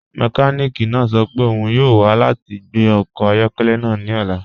Mẹkànìkì náà sọ́ pẹ́ ọ́un yọọ wa lati gbẹ ọkọ ayọkẹlẹ́ náà ni ọ̀la.